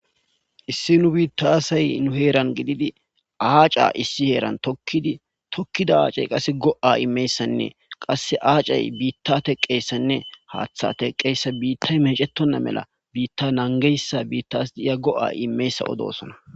issi nu biittasay nu heeran gididi aaca issi heeran tokidi tokkida aacey qase go7a imeyssanne qasse aacey biitta teqqeyssanne haaththa teqqeyssa biittay mecetonna mela biitta nangeyssa biittas diya go7a imeyssa odosona